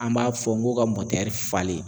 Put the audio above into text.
An b'a fɔ n ko ka falen.